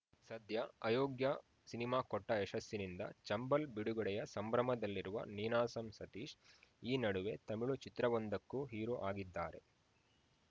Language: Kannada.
ಸದ್ಯ ಅಯೋಗ್ಯ ಸಿನಿಮಾ ಕೊಟ್ಟಯಶಸ್ಸಿನಿಂದ ಚಂಬಲ್‌ ಬಿಡುಗಡೆಯ ಸಂಭ್ರಮದಲ್ಲಿರುವ ನೀನಾಸಂ ಸತೀಶ್‌ ಈ ನಡುವೆ ತಮಿಳು ಚಿತ್ರವೊಂದಕ್ಕೂ ಹೀರೋ ಆಗಿದ್ದಾರೆ